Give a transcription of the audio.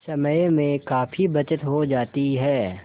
समय में काफी बचत हो जाती है